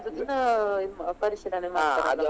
ಅದು ದಿನಾ ಪರಿಶೀಲನೆ .